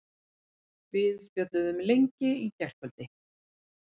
Við spjölluðum lengi í gærkvöldi.